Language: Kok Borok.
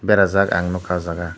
berajak ang nukha oh jaga.